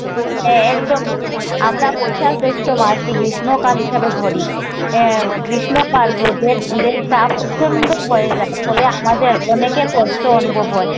হ্যাঁ, একদমই। আমরা বৈশাখ জ্যৈষ্ঠ মাসকে গ্রীষ্মকাল হিসাবে ধরি। আহ গ্রীষ্মকাল রোদের রোদতাপ প্রচণ্ড হয়ে যায়। ফলে আমাদের অনেকের কষ্ট অনুভব হয়।